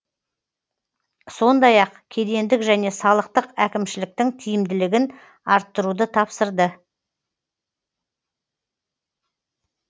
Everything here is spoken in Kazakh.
сондай ақ кедендік және салықтық әкімшіліктің тиімдігілін арттыруды тапсырды